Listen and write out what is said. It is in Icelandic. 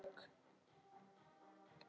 Þetta stenst engin rök.